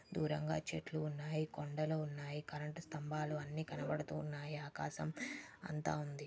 చెట్లు ఉన్నాయి కొండలు ఉన్నాయి కరెంటు స్తంభాలు అన్నీ కనబడుతూ ఉన్నాయి ఆకాశం అంతా వుంది.